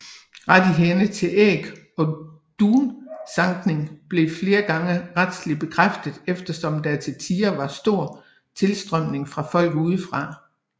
Rettighederne til æg og dunsankning blev flere gange retslig bekræftet eftersom der til tider var stor tilstrømning fra folk udefra